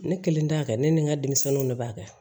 Ne kelen t'a kɛ ne ni n ka denmisɛnninw de b'a kɛ